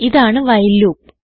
ഇതാണ് while loop